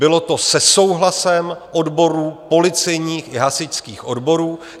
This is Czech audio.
Bylo to se souhlasem odborů, policejních i hasičských odborů.